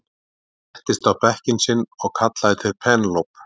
Settist á bekkinn sinn og kallaði til Penélope.